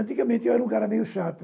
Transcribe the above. Antigamente, eu era um cara meio chato.